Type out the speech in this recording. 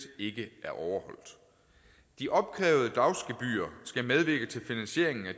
ikke er overholdt de opkrævede dagsgebyrer skal medvirke til finansieringen af